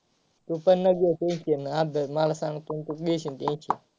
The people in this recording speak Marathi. तू पण नको घेऊ tension अभ्यास मला सांग .